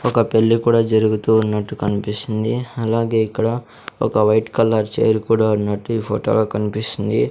ఒక పెళ్లి కూడా జరుగుతూ ఉన్నట్టు కన్పిస్తుంది అలాగే ఇక్కడ ఒక వైట్ కలర్ చేర్ కూడా ఉన్నట్టు ఈ ఫొటో లో కన్పిస్తుంది.